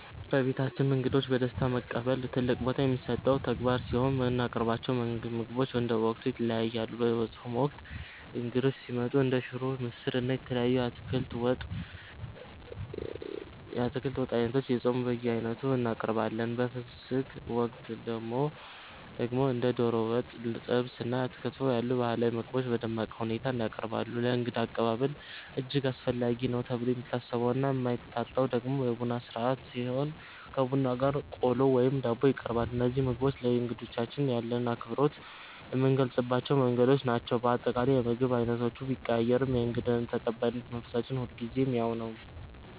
በቤታችን እንግዶችን በደስታ መቀበል ትልቅ ቦታ የሚሰጠው ተግባር ሲሆን፣ የምናቀርባቸው ምግቦች እንደ ወቅቱ ይለያያሉ። በጾም ወቅት እንግዶች ሲመጡ እንደ ሽሮ፣ ምስር፣ እና የተለያዩ የአትክልት ወጥ ዓይነቶችን (የጾም በየዓይነቱ) እናቀርባለን። በፍስግ ወቅት ደግሞ እንደ ዶሮ ወጥ፣ ጥብስ እና ክትፎ ያሉ ባህላዊ ምግቦች በደመቀ ሁኔታ ይቀርባሉ። ለእንግዳ አቀባበል እጅግ አስፈላጊ ነው ተብሎ የሚታሰበውና የማይታጣው ደግሞ የቡና ሥርዓት ሲሆን፣ ከቡናው ጋር ቆሎ ወይም ዳቦ ይቀርባል። እነዚህ ምግቦች ለእንግዶቻችን ያለንን አክብሮት የምንገልጽባቸው መንገዶች ናቸው። በአጠቃላይ፣ የምግብ ዓይነቶቹ ቢቀያየሩም የእንግዳ ተቀባይነት መንፈሳችን ሁልጊዜም ያው ነው።